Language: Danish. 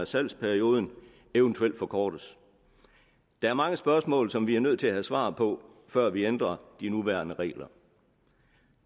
salgsperioden eventuelt forkortes der er mange spørgsmål som vi er nødt til at have svar på før vi ændrer de nuværende regler